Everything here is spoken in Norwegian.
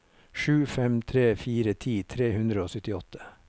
sju fem tre fire ti tre hundre og syttiåtte